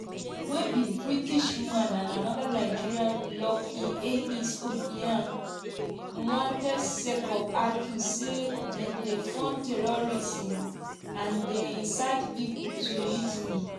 wey be british man and anoda nigerian lucky ehis obiyan wanted sake of accuse say dem dey fund terrorism and dey incite pipo to mutiny.